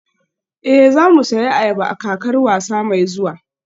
Ee, za mu sayi ayaba a kakar wasa mai zuwa